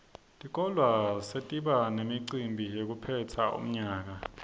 tikolwa setiba nemicimbi wekuphetsa umnyaka